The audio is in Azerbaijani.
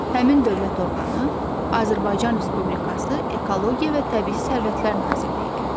Həmin dövlət orqanı Azərbaycan Respublikası Ekologiya və Təbii Sərvətlər Nazirliyidir.